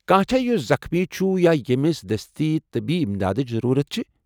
کانٛہہ چھا یُس زخمی چُھ یا ییٚمِس دٔستی طبی امدادٕچ ضروٗرت چھِ ؟